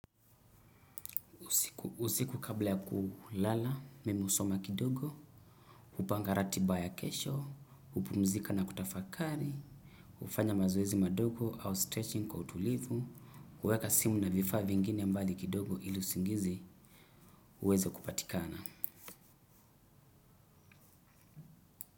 Usiku kabla ya kulala, mimi husoma kidogo, hupanga ratiba ya kesho, hupumzika na kutafakari, hufanya mazoezi madogo au stretching kwa utulivu, huweka simu na vifaa vingine mbali kidogo ili usingizi uweze kupatikana.